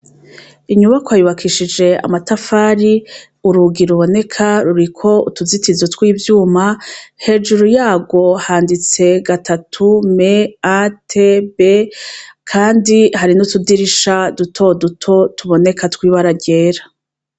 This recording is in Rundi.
Inyubakwa yubakishije amatafari, urugi ruboneka ruriko utuzitizo tw'ivyuma, hejuru yarwo handitse gatatu, M, A, T, B, kandi hari n'utudirisha duto duto tuboneka tw'ibara ryera.